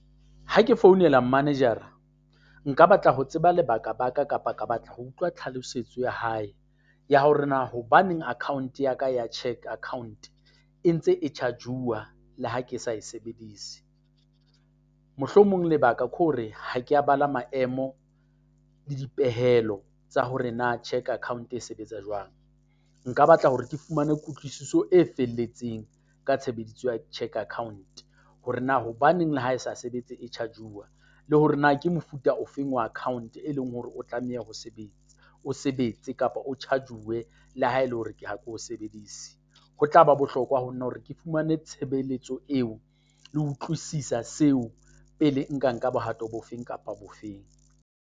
Ha ke founela manager-ra, a nka batla ho tseba lebaka-baka kapa ka batla ho utlwa tlhalosetso ya hae, ya hore na hobaneng account ya ka ya cheque account e ntse e charge-uwa le ha ke sa e sebedise? Mohlomong lebaka ke hore ha ke a bala maemo le dipehelo tsa hore na cheque account e sebetsa jwang. Nka batla hore ke fumane kutlwisiso e felletseng ka tshebediso ya cheque account, hore na hobaneng le ha e sa sebetse e charge-uwa? Le hore na ke mofuta ofeng wa account e leng hore o tlameha ho sebetsa, o sebetse kapa o charge-uwe la ha e le hore ke ha ke o sebedise? Ho tla ba bohlokwa ho nna hore ke fumane tshebeletso eo. Le utlwisisa seo pele nka nka bohato bofe kapa bofeng.